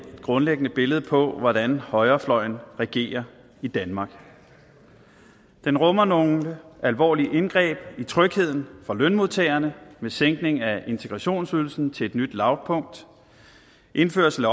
grundlæggende et billede på hvordan højrefløjen regerer i danmark den rummer nogle alvorlige indgreb i trygheden for lønmodtagerne med sænkning af integrationsydelsen til et nyt lavpunkt indførelse af